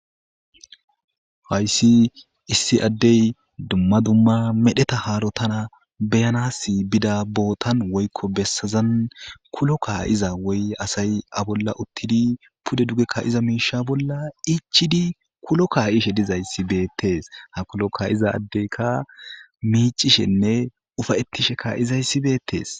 Hayssi issi addey dumma dumma medheta haarota beyanaas bida bootan woykko bessazan kulo kaa7iza woyi asay iya bolla utidi ichidi kulo kayishe betesi ha kulo kayiza adeyka micishene ufayetishe kayizayisi betesi.